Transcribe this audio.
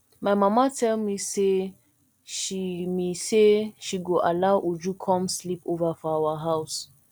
my mama tell me say she me say she go allow uju come sleep over for our house